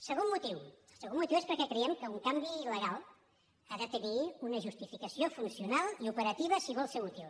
segon motiu el segon motiu és perquè creiem que un canvi legal ha de tenir una justificació funcional i operativa si vol ser útil